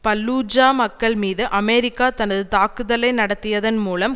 Fallujah மக்கள் மீது America தனது தாக்குதலை நடத்தியதன் மூலம்